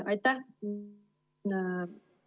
Aitäh!